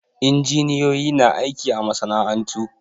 Injiniyoyi na aiki a masana'antu